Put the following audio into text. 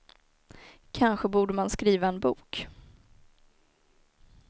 Kanske borde man skriva en bok.